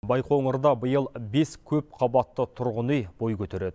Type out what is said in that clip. байқоңырда биыл бес көпқабатты тұрғын үй бой көтереді